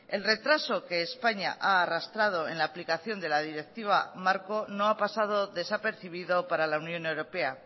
el retraso que españa ha arrastrado en la aplicación de la directiva marco no ha pasado desapercibido para la unión europea